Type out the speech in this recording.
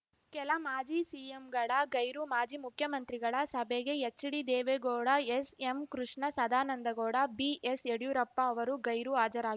ಕೆಲ ಮಾಜಿ ಸಿಎಂಗಳ ಗೈರು ಮಾಜಿ ಮುಖ್ಯಮಂತ್ರಿಗಳ ಸಭೆಗೆ H D Deve Gowda S M Krishna Sadananda Gowda B S Yediyurappa ಅವರು ಗೈರು ಹಾಜರಾ